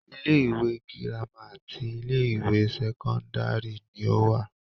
Ilé-ìwé girama àti ilé-ìwé sẹ́kọ́ndárì ni ó wà.